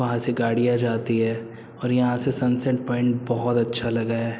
वहाँ से गाड़ियां जाती हैं और यहाँ से सनसेट पॉइंट बहौत अच्छा लगा है।